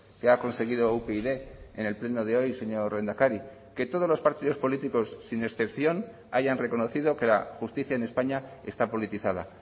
que ha conseguido upyd en el pleno de hoy señor lehendakari que todos los partidos políticos sin excepción hayan reconocido que la justicia en españa está politizada